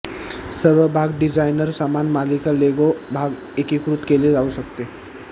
सर्व भाग डिझायनर समान मालिका लेगो भाग एकीकृत केले जाऊ शकते